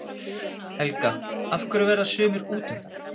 Helga: Af hverju verða sumir útundan?